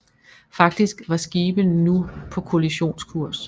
Faktisk var skibene nu på kollisionskurs